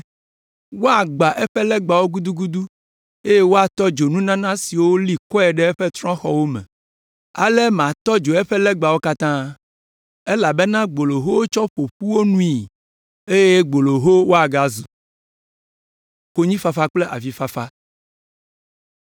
Woagbã eƒe legbawo gudugudu eye woatɔ dzo nunana siwo woli kɔe ɖe eƒe trɔ̃xɔwo me. Ale matɔ dzo eƒe legbawo katã. Elabena gboloho wotsɔ ƒo wo nu ƒui eye gboloho woagazu.”